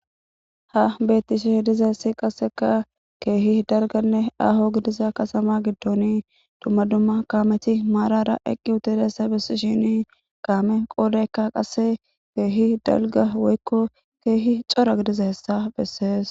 Ha beettishe diza hessi qasseka keehi dalganne aho gidiza kasama giddoni dumma dumma kaameti maarara eqqi hutudessa besi shini kaame qoodayka qasse keehi dalga woykko keehi cora gidiza hessa bessees.